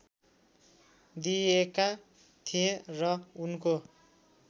दिइएका थिए र उनको